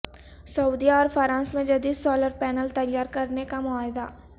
سعودیہ اور فرانس میں جدید سو لر پینل تیار کرنے کا معاہدہ